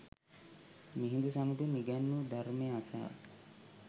මිහිඳු සමිඳුන් ඉගැන්වු ධර්මය අසා